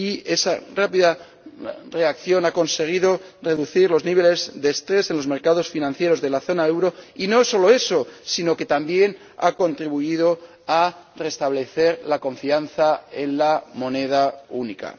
Esa rápida reacción ha conseguido reducir los niveles de estrés en los mercados financieros de la zona del euro, y no solo eso, sino que también ha contribuido a restablecer la confianza en la moneda única.